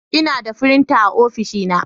Ina da firinta a ofishina.